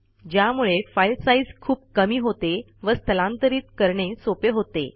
ज्यामुळे file size खूप कमी होते व स्थलांतरित करणे सोपे होते